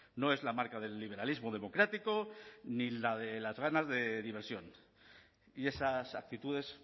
no es la marca del liberalismo democrático ni la de las ganas de diversión y esas actitudes